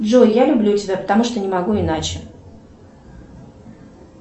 джой я люблю тебя потому что не могу иначе